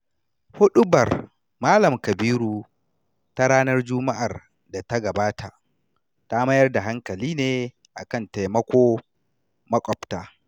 Huɗubar Malam Kabiru ta ranar Juma'ar da ta gabata, ta mayar da hankali ne a kan taimako maƙwabta.